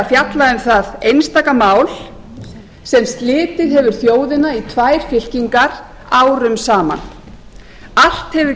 fjalla um það einstaka mál sem slitið hefur þjóðina í tvær fylkingar árum saman allt hefur